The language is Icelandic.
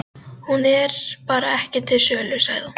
Hún er bara ekki til sölu, sagði hún.